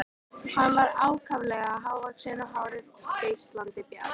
Hann var ákaflega hávaxinn og hárið geislandi bjart.